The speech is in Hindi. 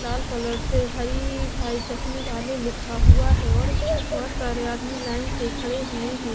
लाल कलर से हरि भाई चश्मे वाले लिखा हुआ है और बहोत सारे आदमी लाइन से खड़े हुएं हैं।